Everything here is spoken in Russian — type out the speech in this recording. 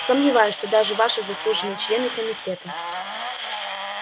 сомневаюсь что даже ваши заслуженные члены комитета